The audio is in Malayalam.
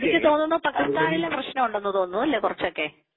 എനിക്ക് തോന്നുന്നു പാകിസ്ഥാനിലും പ്രശ്നമുണ്ടെന്ന് തോന്നുന്നു അല്ലേ കുറച്ചൊക്കെ .